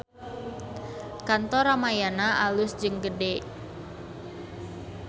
Kantor Ramayana alus jeung gede